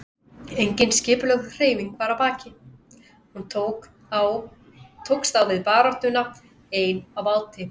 Engin skipulögð hreyfing var að baki, hún tókst á við baráttuna ein á báti.